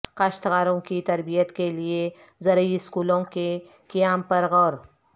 کاشتکاروں کی تربیت کے لئے زرعی اسکولوں کے قیام پر غور